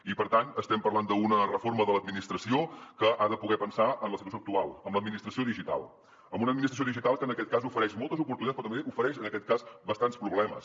i per tant estem parlant d’una reforma de l’administració que ha de poder pensar en la situació actual amb l’administració digital amb una administració digital que en aquest cas ofereix moltes oportunitats però també ofereix en aquest cas bastants problemes